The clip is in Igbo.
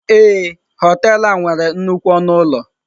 Ee.horitel a nwere nnukwu ọnụ ụlọ.